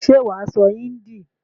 Ṣé wà á sọ hindi?